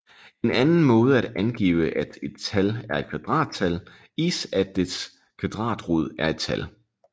En anden måde at angive at et tal er et kvadrattal is at dets kvadratrod er et tal